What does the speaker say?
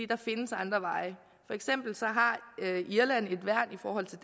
der findes andre veje for eksempel har irland et værn i forhold til